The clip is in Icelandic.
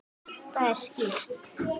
Það er skýrt.